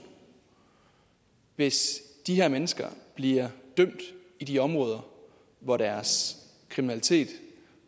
hvis de her mennesker bliver dømt i de områder hvor deres kriminalitet